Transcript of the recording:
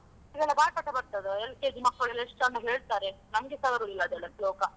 ಇದೆಲ್ಲ ಬಾಯಿ ಪಾಠ ಬರ್ತದ LKG ಮಕ್ಕಳೆಲ್ಲ ಎಷ್ಟು ಚಂದ ಹೇಳ್ತಾರೆ, ನಮ್ಗೆಸಾ ಬರುದಿಲ್ಲ ಅದೆಲ್ಲ ಶ್ಲೋಕ.